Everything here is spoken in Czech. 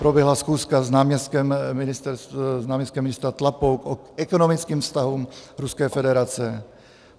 Proběhla schůzka s náměstkem ministra Tlapou o ekonomickém vztahu Ruské federace.